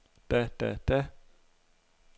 da da da